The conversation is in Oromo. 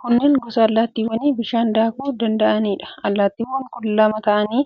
Kunneen gosa allaattiiwwanii bishaan daakuu danda'aniidha. Allaattiiwwan kun lama ta'anii